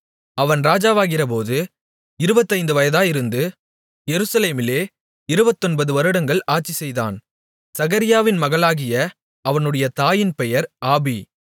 அவன் ராஜாவாகிறபோது இருபத்தைந்து வயதாயிருந்து எருசலேமிலே இருபத்தொன்பது வருடங்கள் ஆட்சிசெய்தான் சகரியாவின் மகளாகிய அவனுடைய தாயின் பெயர் ஆபி